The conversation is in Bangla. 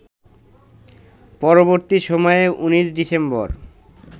পরবর্তী সময়ে ১৯ ডিসেম্বর